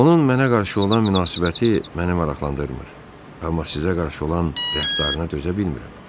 Onun mənə qarşı olan münasibəti məni maraqlandırmır, amma sizə qarşı olan rəftarına dözə bilmirəm.